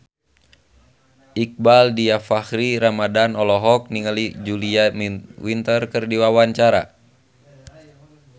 Iqbaal Dhiafakhri Ramadhan olohok ningali Julia Winter keur diwawancara